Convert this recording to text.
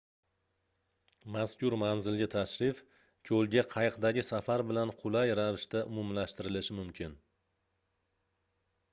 mazkur manzilga tashrif koʻlga qayiqdagi safar bilan qulay ravishda umumlashtirilishi mumkin